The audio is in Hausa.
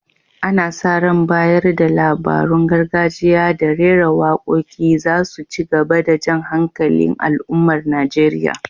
Ana sa ran bayar da labarun gargajiya da rera waƙoƙi za su ci gaba da jan hankalin al’ummar Najeriya.